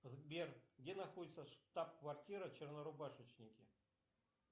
сбер где находится штаб квартира чернорубашечники